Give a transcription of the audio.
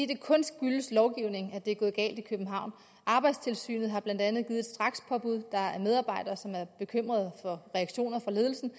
det kun skyldes lovgivningen at det er gået galt i københavn arbejdstilsynet har blandt andet givet et strakspåbud der er medarbejdere som er bekymrede for reaktioner fra ledelsen